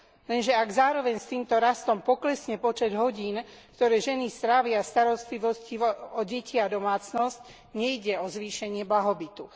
Lenže ak zároveň s týmto rastom poklesne počet hodín, ktoré ženy strávia v starostlivosti o deti a domácnosť nejde o zvýšenie blahobytu.